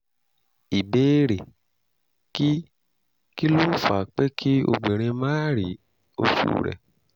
ìbéèrè: kí kí ló ń fa pé kí obìnrin máà rí oṣù rẹ̀?